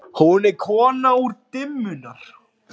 Hún er kona dimmunnar.